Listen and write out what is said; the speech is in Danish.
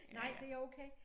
Nej det okay